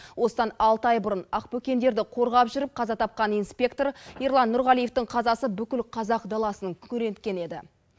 осыдан алты ай бұрын ақбөкендерді қорғап жүріп қаза тапқан инспектор ерлан нұрғалиевтың қазасы бүкіл қазақ даласын күңіренткен еді